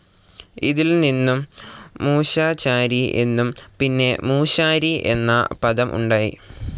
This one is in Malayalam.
ഇതിൽ നിന്നും മൂശാചാരി എന്നും, പിന്നെ മൂശാരി എന്ന പദം ഉണ്ടായി.